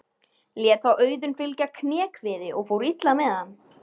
Lét þá Auðunn fylgja kné kviði og fór illa með hann.